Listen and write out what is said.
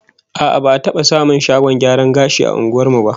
A'a, ba'a taba samun shagon gyaran gashi a unguwar mu ba